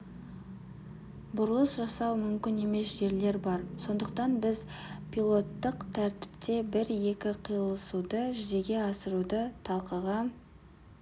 бұрылыс жасау мүмкін емес жерлер бар сондықтан біз пилоттық тәртіпте бір-екі қиылысуды жүзеге асыруды талқыға